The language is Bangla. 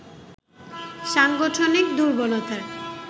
সাংগঠনিক দূর্বলতার